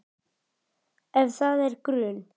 Ef það er grun